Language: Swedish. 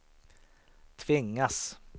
tvingas